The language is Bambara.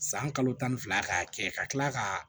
San kalo tan ni fila k'a kɛ ka tila ka